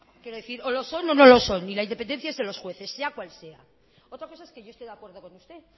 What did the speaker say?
quiero decir o lo son o no lo son y la independencia de los jueces sea cual sea otra cosa es que yo esté de acuerdo con usted